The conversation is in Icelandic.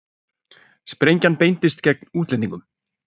Sprengjan beindist gegn útlendingum